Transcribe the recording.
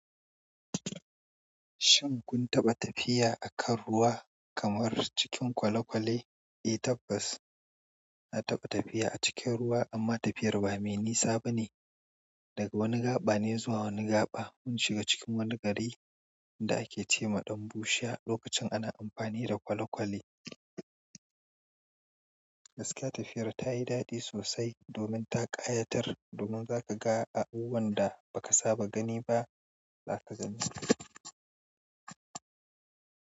Shin kun taɓa tafiya a kan ruwa kamar cikin kwale-kwale? Eh tabbas na taɓa tafiya a cikin ruwa amma tafiyar ba mai nisa bane, daga wani gaɓa ne zuwa wani gaɓa mun shiga cikin wani gari inda ake ce ma ɗan bushiya lokacin ana amfani da kwale-kwale. Gaskiya tafiyar tayi daɗi sosai domin ta ƙayatar domin za ka abubuwan da ba ka saba gani ba za ka gansu.